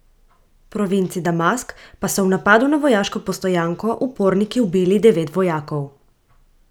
V provinci Damask pa so v napadu na vojaško postojanko uporniki ubili devet vojakov.